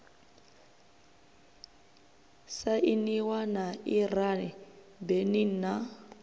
sainiwa na iran benin na